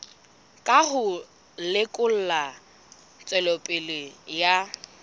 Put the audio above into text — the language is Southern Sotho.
ka ho lekola tswelopele ya